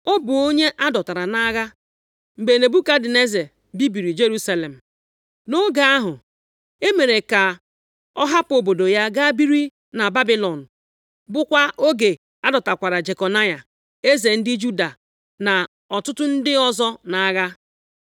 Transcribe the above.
Ọ bụ onye a dọtara nʼagha mgbe Nebukadneza bibiri Jerusalem. Nʼoge ahụ, e mere ka ọ hapụ obodo ya gaa biri na Babilọn bụkwa oge a dọtakwara Jekonaya + 2:6 Nke a bụ ụzọ ọzọ e si akpọ aha Jehoiakin. eze ndị Juda na ọtụtụ ndị ọzọ nʼagha.